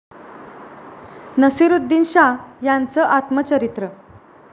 नसीरुद्दीन शाह यांचं आत्मचरित्र